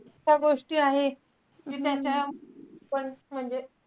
त्या गोष्टी आहेत कि त्याच्या plus म्हणजे,